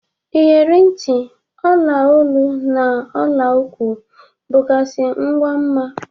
Iyeri nti, mgba olu na ọla ụkwụ bụgazi ngwa mma.